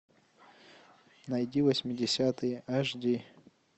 найди восьмидесятые аш ди